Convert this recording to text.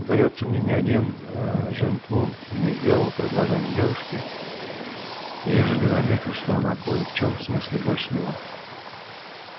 даётся мне ни один ээ жентмун не сделал предложение девушке ежели заметит что она кое в чём смыслит больше него